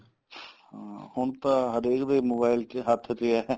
ਹਾਂ ਹੁਣ ਤਾਂ ਹਰੇਕ ਦੇ mobile ਚ ਹੱਥ ਚ ਏ